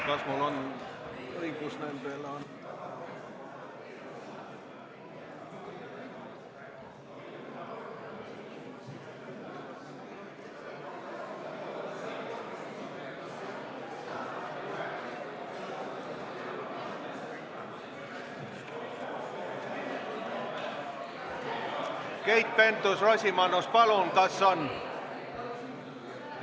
Keit Pentus-Rosimannus, palun, kas on ...?